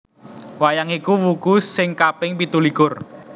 Wayang iku wuku sing kaping pitulikur